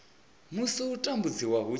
musi u tambudziwa hu tshi